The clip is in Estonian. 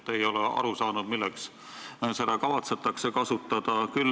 Ei ole aru saanud, milleks seda kavatsetakse kasutada.